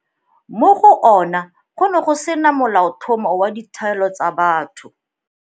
Mo go ona go ne go sena Molaotlhomo wa Ditshwanelo tsa Batho.